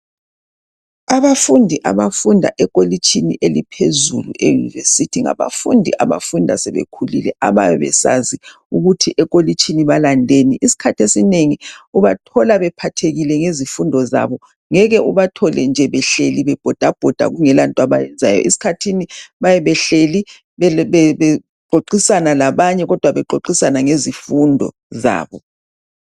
Abafundi abafunda ekolitshini eliphezulu e university, ngabafundi abafunda sebekhulile abayabe besazi ukuthi ekolitshini balandeni. Isikhathi esinengi ubathola bephathekile ngezifundo zabo ngeke ubathole nje behleli bebhodabhoda kungelanto abayenzayo. Esikhathini bayabe behleli bexoxisana labanye kodwa bexoxisana ngezifundo zabo